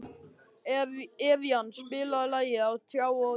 Evían, spilaðu lagið „Á tjá og tundri“.